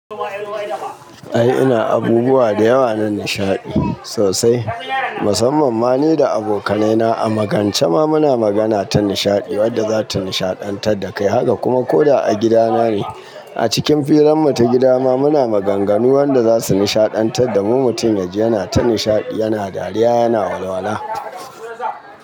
Ai ina abubuwa da yawa na nishaɗi sosai, musamman ma ni da abokanaina a magance ma muna magana ta nishaɗi wadda za ta nishaɗantar da kai. Haka kuma ko da a gidana ne a cikin firarmu ta gida ma muna maganganu wanda za su nishaɗantar da mu. Mutum ya ji yana ta nishaɗi, yana dariya, yana walwala.